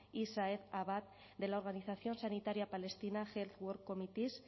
y saeed abbad de la organización sanitaria palestina health work committees